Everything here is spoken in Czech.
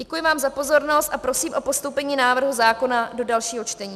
Děkuji vám za pozornost a prosím o postoupení návrhu zákona do dalšího čtení.